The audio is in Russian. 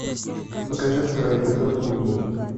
покажи второй эпизод луи